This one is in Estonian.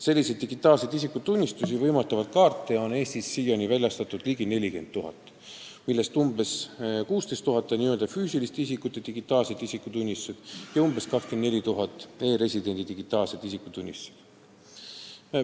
Selliseid kaarte on siiani väljastatud ligi 40 000, millest umbes 16 000 on n-ö füüsiliste isikute digitaalsed isikutunnistused ja umbes 24 000 e-residentide digitaalsed isikutunnistused.